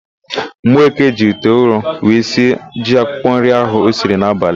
Mgbeke jiri ite ụrọ were sie ji akwụkwọnri ahụ o siri n'abalị.